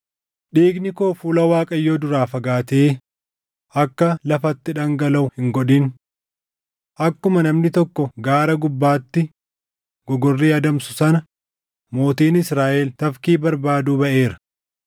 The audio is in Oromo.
Dhiigni koo fuula Waaqayyoo duraa fagaatee akka lafatti dhangalaʼu hin godhin. Akkuma namni tokko gaara gubbaatti gogorrii adamsu sana mootiin Israaʼel tafkii barbaaduu baʼeera.”